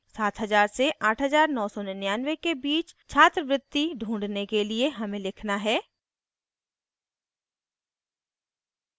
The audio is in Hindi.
7000 से 8999 के बीच छात्रवृत्ति ढूँढने के लिए हमें लिखना है: